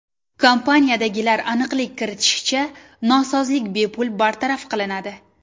Kompaniyadagilar aniqlik kiritishicha, nosozlik bepul bartaraf qilinadi.